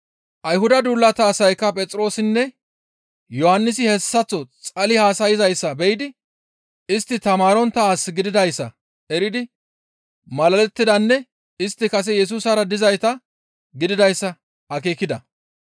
Ayhudata duulata asaykka Phexroosinne Yohannisi hessaththo xali haasayzayssa be7idi istti tamaarontta as gididayssa eridi malalettidanne istti kase Yesusara dizayta gididayssa akeekida.